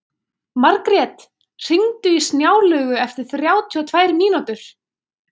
Margrjet, hringdu í Snjálaugu eftir þrjátíu og tvær mínútur.